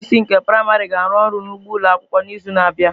Ụmụ akwụkwọ isii nke praịmarị ga-arụ ọrụ n'ugbo ụlọ akwụkwọ n'izu na-abịa